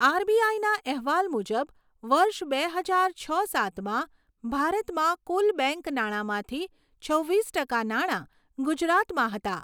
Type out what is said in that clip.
આરબીઆઈના અહેવાલ મુજબ, વર્ષ બે હજાર છ સાતમાં, ભારતમાં કુલ બેંક નાણાંમાંથી છવ્વીસ ટકા નાણાં ગુજરાતમાં હતા.